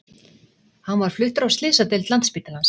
Hann var fluttur á slysadeild Landspítalans